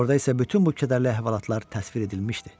Orada isə bütün bu kədərli əhvalatlar təsvir edilmişdi.